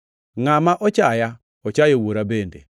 Ngʼama ochaya, ochayo Wuora bende.